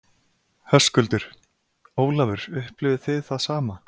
Höskuldur: Ólafur, upplifið þið það sama?